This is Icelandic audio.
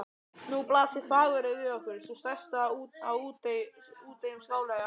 Nú blasir Fagurey við okkur, sú stærsta af úteyjum Skáleyja.